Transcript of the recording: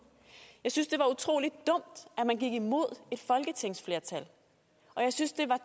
jeg synes det var utrolig dumt at man gik imod et folketingsflertal og jeg synes det var